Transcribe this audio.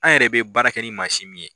An yɛrɛ bɛ baara kɛ ni mansin min ye.